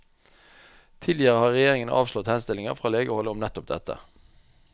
Tidligere har regjeringen avslått henstillinger fra legehold om nettopp dette.